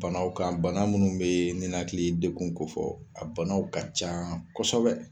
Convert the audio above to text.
Banaw kan bana munnu be ninakili dekun kofɔ, a banaw ka ca kɔsɔbɛ.